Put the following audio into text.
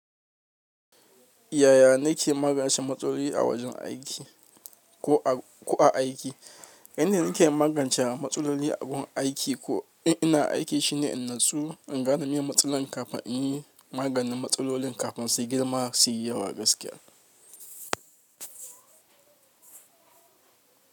Yaya na ke magance matsaloli a wajen aiki ko a aiki? Yanda na ke magance matsalolin abun aiki ko ina aiki shine in natsu in gane me matsalan kafin in yi maganin matsalolin kafin su girma su yi yawa gaskiya.